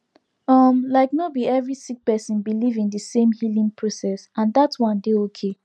um like no bi every sik person biliv in di sem healing process and dat one dey okay